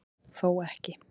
Þó ekki